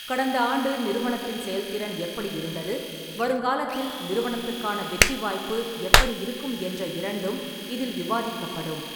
கடந்த ஆண்டு நிறுவனத்தின் செயல்திறன் எப்படி இருந்தது, வருங்காலத்தில் நிறுவனத்துக்கான வெற்றி வாய்ப்பு எப்படி இருக்கும் என்ற இரண்டும் இதில் விவாதிக்கப்படும்.